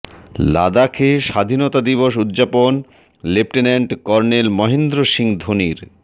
লাদাখে স্বাধীনতা দিবস উদযাপন লেফটেন্যান্ট কর্নেল মহেন্দ্র সিং ধোনির